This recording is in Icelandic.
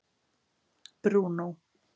Bruno